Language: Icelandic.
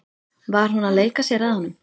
Var hún að leika sér að honum?